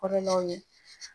Kɔrɔlaw ye.